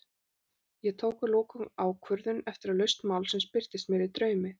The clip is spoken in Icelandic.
Ég tók að lokum ákvörðun, eftir að lausn málsins birtist mér í draumi.